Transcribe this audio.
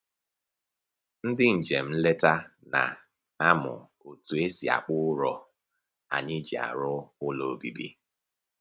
Ndị njem nleta na-amụ otu e si akpụ ụrọ anyị ji arụ ụlọ obibi